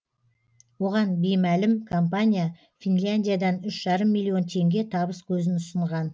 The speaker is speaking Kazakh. оған беймәлім компания финляндиядан үш жарым миллион теңге табыс көзін ұсынған